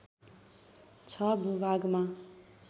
६ भूभागमा